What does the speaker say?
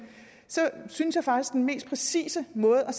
synes jeg faktisk mest præcise måde at